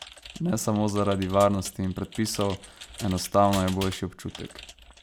Ne samo zaradi varnosti in predpisov, enostavno je boljši občutek.